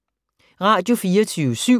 Radio24syv